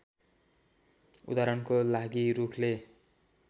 उदाहरणको लागी रुखले